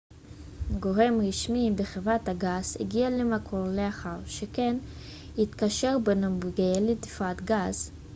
גורם רשמי בחברת הגז הגיע למקום לאחר ששכן התקשר בנוגע לדליפת גז